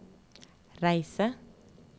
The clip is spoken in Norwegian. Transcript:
reise